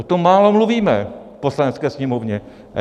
O tom málo mluvíme v Poslanecké sněmovně.